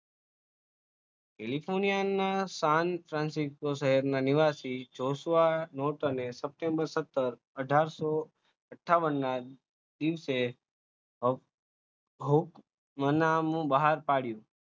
કેલિફોર્નિયાના સેંટ શહેરના નિવાસી એ સપ્ટેમ્બર, સત્તર, અઢારસો અઠાવનના દિવસે નામું બહાર પાડયું.